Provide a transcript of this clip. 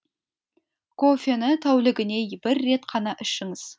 кофені тәулігіне бір рет қана ішіңіз